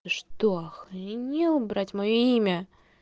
ты что охренел брать моё имя